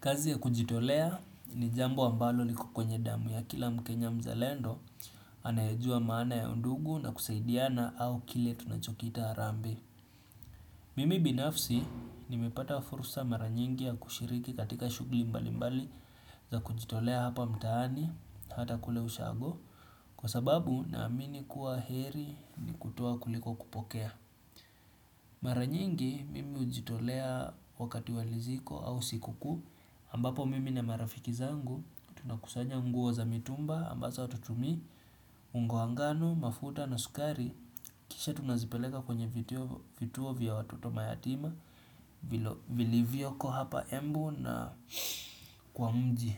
Kazi ya kujitolea ni jambo ambalo liko kwenye damu ya kila mkenya mzalendo anayejuwa maana ya undugu na kusaidiana au kile tunachokiita harambee. Mimi binafsi nimepata fursa mara nyingi ya kushiriki katika shughuli mbali mbali za kujitolea hapa mtaani hata kule ushago kwa sababu naamini kuwa heri kutoa kuliko kupokea. Mara nyingi mimi hujitolea wakati wa likizo au siku kuu ambapo mimi na marafiki zangu, tunakusanya nguo za mitumba ambazo hatutumii, unga wa ngano, mafuta na sukari Kisha tunazipeleka kwenye vituo vya watoto mayatima Vilivyoko hapa embu na kwa mji